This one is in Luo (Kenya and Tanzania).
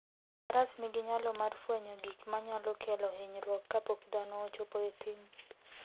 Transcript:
Faras nigi nyalo mar fwenyo gik manyalo kelo hinyruok kapok dhano ochopo e thim.